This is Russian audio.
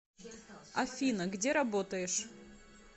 афина где работаешь